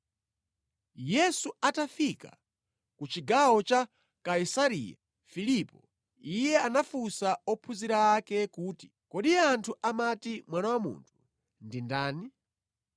Yesu atafika ku chigawo cha Kaisareya Filipo, Iye anafunsa ophunzira ake kuti, “Kodi anthu amati Mwana wa Munthu ndi ndani?”